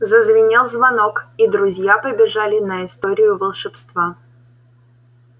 зазвенел звонок и друзья побежали на историю волшебства